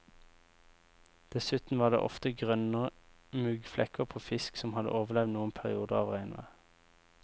Dessuten var det ofte grønne muggflekker på fisk som hadde overlevd noen perioder av regnvær.